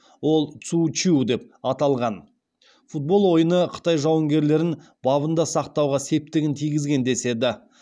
ол цу чю деп аталған футбол ойыны қытай жауынгерлерін бабында сақтауға септігін тигізген деседі